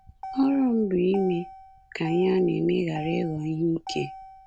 Ọrụ m bụ ime ka ihe a na-eme ghara ịghọ ihe ike.